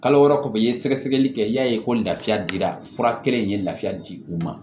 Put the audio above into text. Kalo wɛrɛ kɔfɛ i ye sɛgɛsɛgɛli kɛ i y'a ye ko lafiya dira fura kelen in ye lafiya di u ma